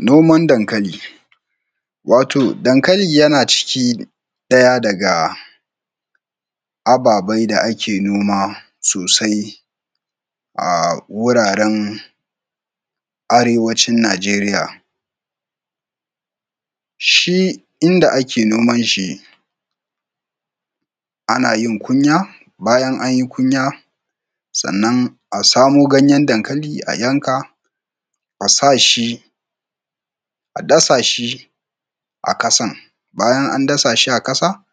Noman dankali, wato dankali yana ciki ɗaya ababe da ake noma sosai a wuraren arewacin Nijeriya, shi inda ake noman shi, ana yin kunya, bayan anyi kunya, sannan a samo ganyan dankali a yanka, asashi, a dasashi a ƙasan, bayan an dasa shi a ƙasa,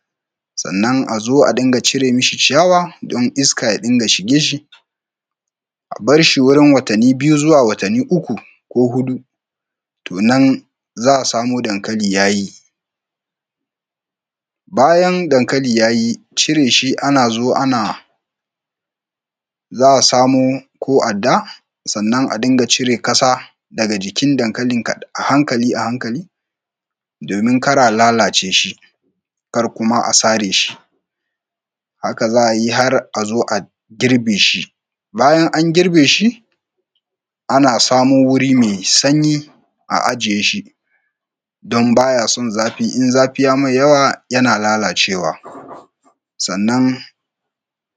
sannan a zo a dinga cire mishi ciyawa don iska ya dinga shige shi, a barshi wurin watani biyu zuwa watani uku, ko huɗu, to nan za a samo dankali ya yi. Bayan dankali ya yi cire shi ana zo ana, za a samo ko adda, sannan a dinga cire ƙasa daga jikin dankalin a hankali a hankali domin ƙara lalace shi, kar kuma a sare shi, haka za a yi har a zo a girbe shi. Bayan an girbe shi ana samo wuri me sanyi a ajiye shi don baya son zafi, in zafi ye mai yawa yana lalacewa. Sannan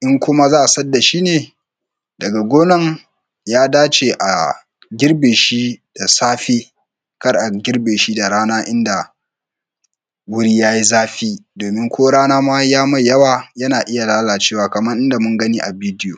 in kuma za a sayar dashi ne, daga gonan ya dace a girbe shi da safe, kar a girbe shi da rana inda wuri ya yi zafi, domin ko rana ma ye mai yawa yana iya lalacewa kaman inda mun gani a bidoyo.